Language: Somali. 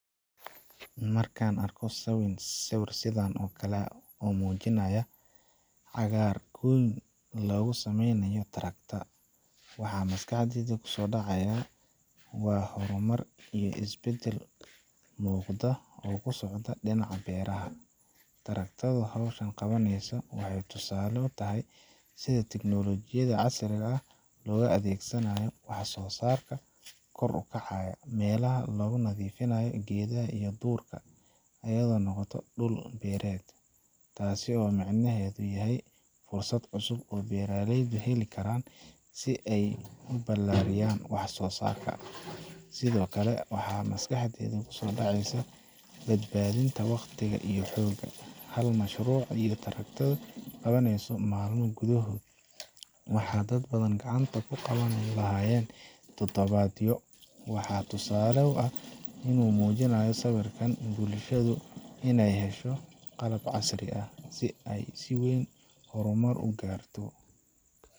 Marka aan arko sawir sidan oo kale ah oo muujinaya cagaar goyn lagu sameynayo tractor, waxa maskaxdayda ku soo dhacaya waa horumar iyo isbeddel muuqda oo ku socda dhinaca beeraha. Tractor ka oo hawshan qabaya wuxuu tusaale u yahay sida tiknoolajiyadda casriga ah loogu adeegsan karo wax soo saar kor u kaca. Meelaha lagu nadiifinayo geedaha iyo duurka ayaa noqda dhul beereed, taas oo micnaheedu yahay fursad cusub oo beeraleydu heli karaan si ay u ballaariyaan wax soo saarkooda. Sidoo kale, waxaa maskaxdayda ku soo dhacaya badbaadinta waqti iyo xoog. Hal mashruuc oo tractor du qabaneeso maalmo gudahood, waxa dad badan gacanta ku qaban lahaayeen toddobaadyo. Waa tusaale cad oo muujinaya in haddii bulshadu inay hesho qalab casri ah, ay si weyn u horumar u gaarto.